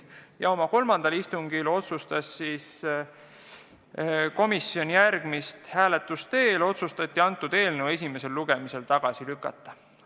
Kolmandal seda teemat arutanud istungil otsustas komisjon hääletuse teel, et teeme ettepaneku eelnõu esimesel lugemisel tagasi lükata.